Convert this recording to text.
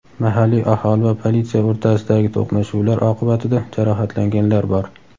Mahalliy aholi va politsiya o‘rtasidagi to‘qnashuvlar oqibatida jarohatlanganlar bor.